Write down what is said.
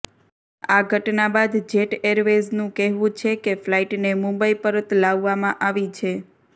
આ ઘટના બાદ જેટએરવેઝનું કહેવું છે કે ફ્લાઇટને મુંબઇ પરત લાવવામાં આવી છે